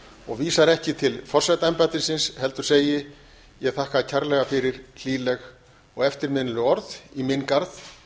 og vísar ekki til forsetaembættisins heldur segi ég þakka kærlega fyrir hlýleg og eftirminnileg orð í minn garð